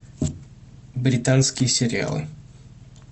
британские сериалы